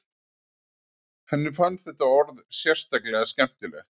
Henni fannst þetta orð sérstaklega skemmtilegt.